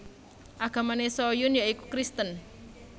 Agamane Soo Hyun ya iku kristen